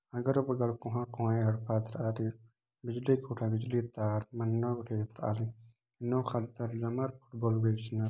अगल बगल कोंहा कोंहा एडपा एथ्राली बिजली गुठा बिजली तार नन्ना गुठी एथ्राली नो खतर जमर बेचनर